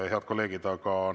Head kolleegid!